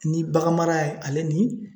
Ni baganmara ye ale ni